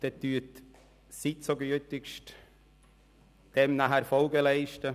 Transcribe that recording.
Dann würde ich Sie bitten, diesem anschliessend Folge zu leisten: